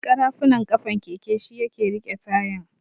ƙarafunan ƙafan keke shi yake riƙe tayan.